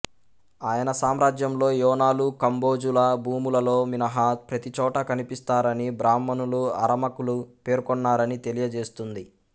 ఆయన సామ్రాజ్యంలో యోనాలు కంబోజుల భూములలో మినహా ప్రతిచోటా కనిపిస్తారని బ్రాహ్మణులు అరామకులు పేర్కొన్నారని తెలియజేస్తుంది